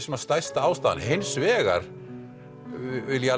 stærsta ástæðan hins vegar vil ég